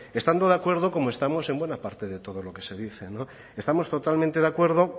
estando de acuerdo como estamos en buena parte de todo lo que se dice estamos totalmente de acuerdo